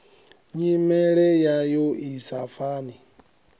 nyimele yayo i sa fani